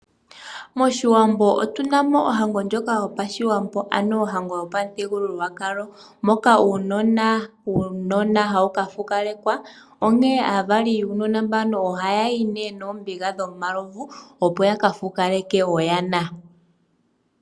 Moshiwambo otu namo ohango yopashiwambo ano ohango yopamuthigululwakalo moka uunona wuukadhona hawu ka fukalekwa, oonke aavali yuunona mbuka ohaayi niiyuma yomalovo opo ya ka fukaleke oyana.